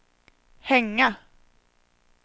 hänga